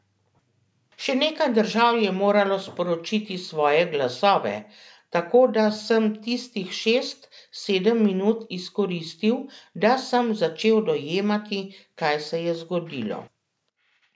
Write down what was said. Še nekaj držav je moralo sporočiti svoje glasove, tako da sem tistih šest, sedem minut, izkoristil, da sem začel dojemati, kaj se je zgodilo.